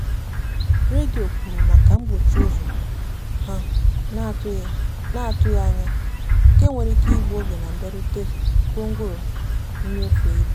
redio kwuru maka mkpọchi ụzọ ha n'atụghị n'atụghị anya ya nke nwere ike igbu oge na mbịarute gwongworo nnyefe ịbụ.